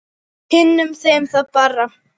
Kynnum þeim það bara.